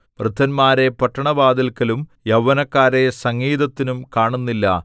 വൃദ്ധന്മാരെ പട്ടണവാതില്‍ക്കലും യൗവനക്കാരെ സംഗീതത്തിനും കാണുന്നില്ല